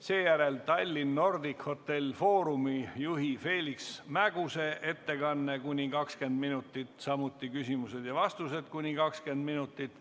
Seejärel Tallinn Nordic Hotel Forumi juhi Feliks Mäguse ettekanne kuni 20 minutit, samuti küsimused ja vastused kuni 20 minutit.